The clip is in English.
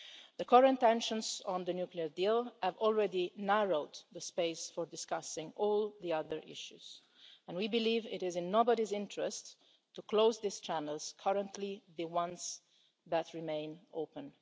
have. The current tensions on the nuclear deal have already narrowed the space for discussing all the other issues and we believe it is in nobody's interest to close the channels that currently remain